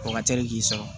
O ka teli k'i sɔrɔ